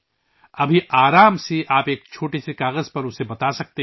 اب آپ آرام سے اسے ایک کاغذ پر بتا سکتے ہیں